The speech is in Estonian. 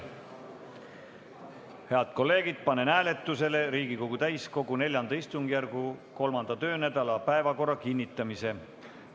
Head kolleegid, panen hääletusele Riigikogu täiskogu IV istungjärgu 3. töönädala päevakorra kinnitamise.